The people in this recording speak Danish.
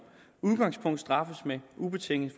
udgangspunkt straffes med ubetinget